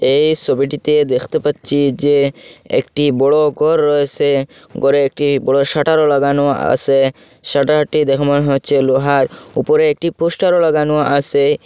এই ছবিটিতে দেখতে পাচ্ছি যে একটি বড় ঘর রয়েছে ঘরে একটি বড় শাটারও লাগানো আছে শাটারটি দেখ মন হচ্ছে লোহার ওপর একটি পোস্টরও লাগানো আছে।